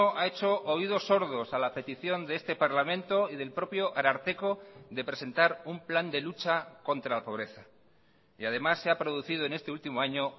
ha hecho oídos sordos a la petición de este parlamento y del propio ararteko de presentar un plan de lucha contra la pobreza y además se ha producido en este último año